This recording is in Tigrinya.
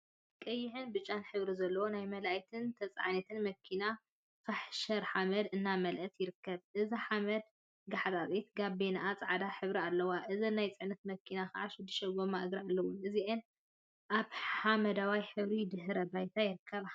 ቀይሕን ብጫን ሕብሪ ዘለዎን ናይ መላኢትን ተፀዓኒትን መኪና ፋሕሸር ሓመድ እናመልአ ይርከባ። እዛ ሓመድ ጋሓጢት ጋቤንአ ፃዕዳ ሕብሪ አለዋ። እዘን ናይ ፅዕነት መኪና ከዓ ሽዱሽተ ጎማ እግሪ አለዋ። እዚአን አብ ሓመደዋይ ሕብሪ ድሕረ ባይታ ይርከባ።